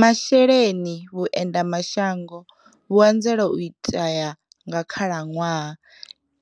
Masheleni, Vhuende mashango vhu anzela u itea nga khalanwaha,